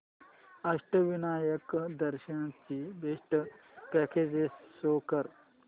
अष्टविनायक दर्शन ची best packages show कर